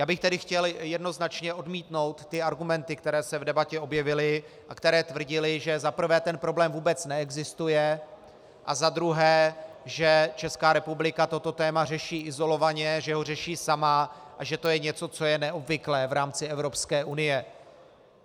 Já bych tedy chtěl jednoznačně odmítnout ty argumenty, které se v debatě objevily a které tvrdily, že za prvé ten problém vůbec neexistuje a za druhé že Česká republika toto téma řeší izolovaně, že ho řeší sama a že to je něco, co je neobvyklé v rámci Evropské unie.